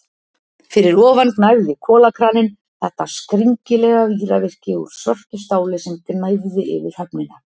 Fyrir ofan gnæfði kolakraninn, þetta skringilega víravirki úr svörtu stáli sem gnæfði yfir höfnina.